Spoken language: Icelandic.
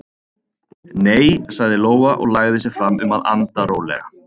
Nei, sagði Lóa og lagði sig fram um að anda rólega.